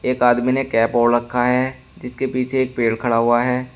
एक आदमी ने कैप ओढ़ रखा है जिसके एक पीछे एक पेड़ खड़ा हुआ है।